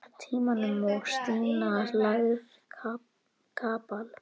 Tímanum og Stína lagði kapal.